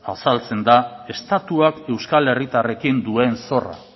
azaltzen da estatuak euskal herritarrekin duen zorra